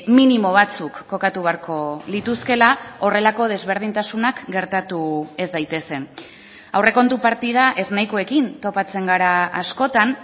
minimo batzuk kokatu beharko lituzkela horrelako desberdintasunak gertatu ez daitezen aurrekontu partida eznahikoekin topatzen gara askotan